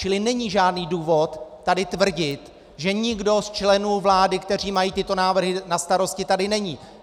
Čili není žádný důvod tady tvrdit, že nikdo z členů vlády, kteří mají tyto návrhy na starosti, tady není.